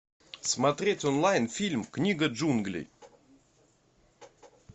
смотреть онлайн фильм книга джунглей